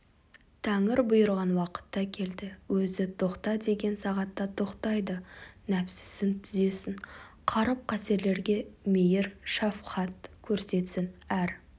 тәңір бұйырған уақытта келді өзі тоқта деген сағатта тоқтайды нәпсісін түзесін қаріп-қасерлерге мейір шафқат көрсетсін әр